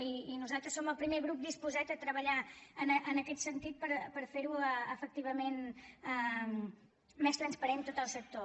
i nosaltres som el primer grup disposat a treballar en aquest sentit per fer efectivament més transparent tot el sector